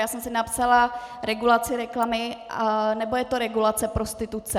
Já jsem si napsala regulaci reklamy, nebo je to regulace prostituce?